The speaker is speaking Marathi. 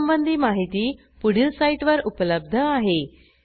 यासंबंधी माहिती पुढील साईटवर उपलब्ध आहे